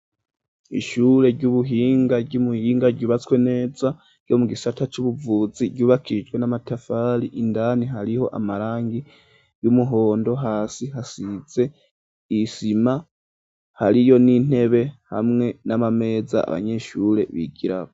Ishure ry'ubuhinga, ry'i Muyinga ryubatswe neza, ryo mu gisata c'ubuvuzi; ryubakijwe n'amatafari, indani hariho amarangi, y'umuhondo, hasi hasize isima, hariyo n'intebe, hamwe n'amameza, abanyeshure bigirako.